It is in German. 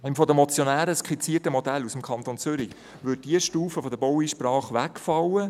Im von den Motionären skizzierten Modell aus dem Kanton Zürich würde diese Stufe der Baueinsprache wegfallen.